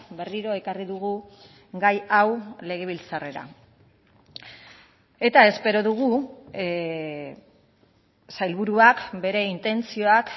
berriro ekarri dugu gai hau legebiltzarrera eta espero dugu sailburuak bere intentzioak